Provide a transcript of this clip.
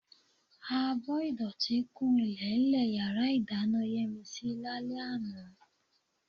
Abọ́ ìdọ̀tí kún ilẹ̀ẹ́lẹ̀ yàrá ìdáná Yẹ́misí lálẹ́ àná.